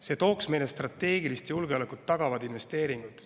See tooks meile strateegilist julgeolekut tagavad investeeringud.